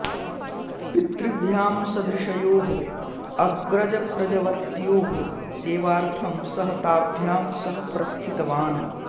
पितृभ्यां सदृशयोः अग्रजप्रजवत्योः सेवार्थं सः ताभ्यां सह प्रस्थितवान्